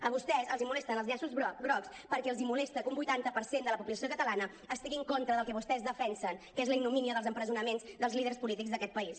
a vostès els molesten els llaços grocs perquè els molesta que un vuitanta per cent de la població catalana estigui en contra del que vostès defensen que és la ignomínia dels empresonaments dels líders polítics d’aquest país